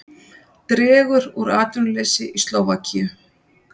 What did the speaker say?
Dregur úr atvinnuleysi í Slóvakíu